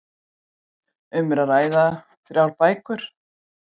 Um er að ræða þrjár bækur